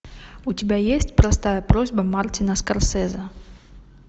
у тебя есть простая просьба мартина скорсезе